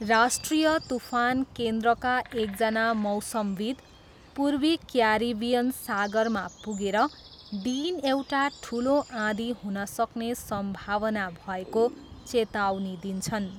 राष्ट्रिय तुफान केन्द्रका एक जना मौसमविद्, पूर्वी क्यारिबियन सागरमा पुगेर डिन एउटा ठुलो आँधी हुनसक्ने सम्भावना भएको चेतावनी दिन्छन्।